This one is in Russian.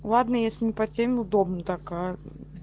ладно если не по теме удобно так аа мм